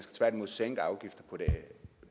tværtimod sænke afgiften